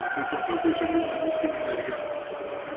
ਅਹ ਤੇ ਚੌਥਾ question ਵੀ almost similar ਹੀ ਹੈ,